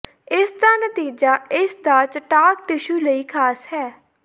ਇਸ ਦਾ ਨਤੀਜਾ ਇਸ ਦਾ ਚਟਾਕ ਟਿਸ਼ੂ ਲਈ ਖਾਸ ਹੈ